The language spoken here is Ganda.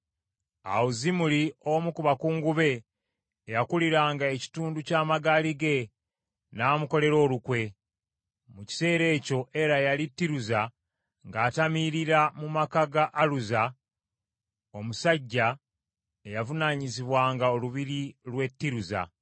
Awo Zimuli, omu ku bakungu be, eyakuliranga ekitundu ky’amagaali ge, n’amukolera olukwe. Mu kiseera ekyo Era yali Tiruza, ng’atamiirira mu maka ga Aluza, omusajja eyavunaanyizibwanga olubiri lw’e Tiruza.